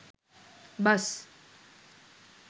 bus